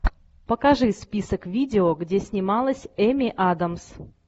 покажи список видео где снималась эми адамс